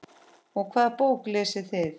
Og hvaða bók lesið þið?